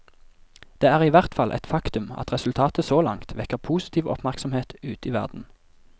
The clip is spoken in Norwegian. Det er i hvert fall et faktum at resultatet så langt vekker positiv oppmerksomhet ute i verden.